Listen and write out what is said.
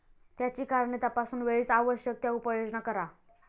त्याची कारणे तपासून वेळीच आवश्यक त्या उपाययोजना करा.